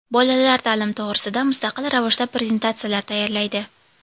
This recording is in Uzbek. Bolalar ta’lim to‘g‘risida mustaqil ravishda prezentatsiyalar tayyorlaydi.